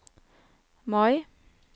Mai